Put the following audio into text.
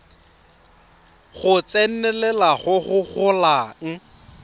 go tsenelela go go golang